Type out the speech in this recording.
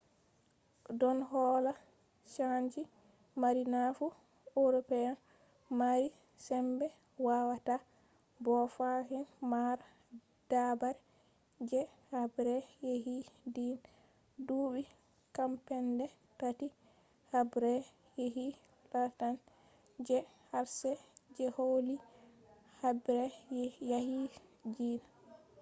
ɗon holla chanji mari nafu european mari sembe wawata bo fahin mara dabare je habre yaqi diina. duɓɓi cappanɗe tati’ haɓre yaqi lartan je qarshe je holli haɓre yaki diina